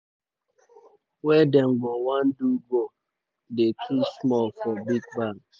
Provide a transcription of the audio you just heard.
wey dem go wan do go dey too small for big banks.